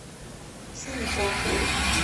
сонипат